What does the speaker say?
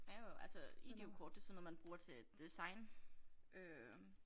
Ja og altså IDEO kort det sådan noget man bruger til design øh